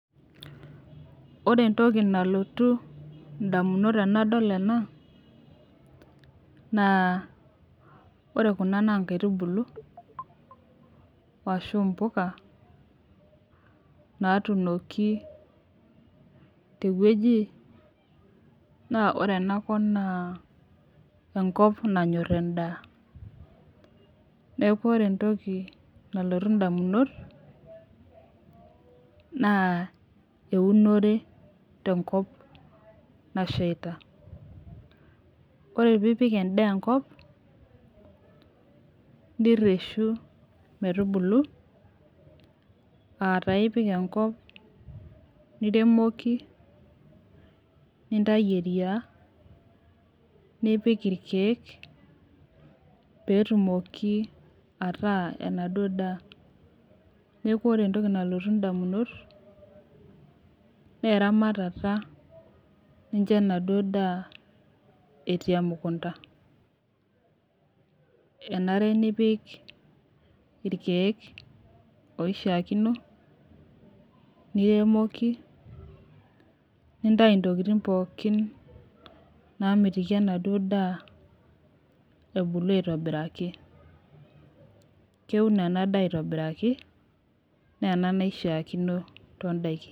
Ore entoki nalotu indamunot tenadol ena naa ore kuna naa inkaitubulu ashu impuka naatuboki tewueji, naa ore ena kop naa, enkop nanyor endaa. Neaku ore entoki nalotu indamunot naa eunore tenkop nasheita. Ore pee ipik endaa enkop, nireshu metubulu aa taa ipik enkop ,niremoki, nintayu eriaa, nipik ilkeek pee etumoki ataaku enaduo daa. Neaku ore entoki nalotu indamunot naa eramatata nincho enaduo daa etii emukunta, enare nipik ilkeek oishaakino, niremoki, nintayu intokitin pooki naamitiki ena duo daa ebulu aitobiraki. Keuno ena daa aitobiraki naa ena naishaakino too indaiki.